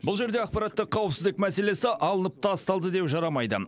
бұл жерде ақпараттық қауіпсіздік мәселесі алынып тасталды деу жарамайды